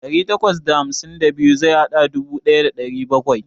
Dari takwas da hamsin so biyu zai bada dubu ɗaya da ɗari bakwai.